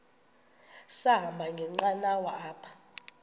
sahamba ngenqanawa apha